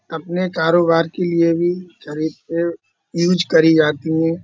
अपने कारोबार के लिये भी तरीके यूज करी जाती है।